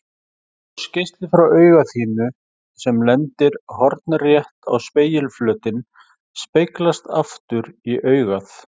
Ljósgeisli frá auga þínu sem lendir hornrétt á spegilflötinn speglast aftur í augað.